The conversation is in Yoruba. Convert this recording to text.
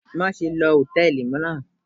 Maṣe lo hòtẹ́ẹ̀lì naa